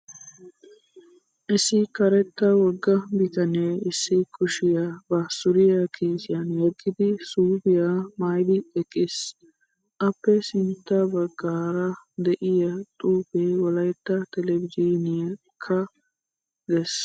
Issi karetta wogga bitanee issi kushiyaa ba suriyaa kiisiyan yeggidi suupiyaa maayyidi eqqis. Appe sintta baggaara diyaa xuupee wolayitta telbbeejiinikyaa ges.